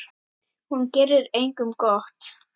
Hún gerir engum gott.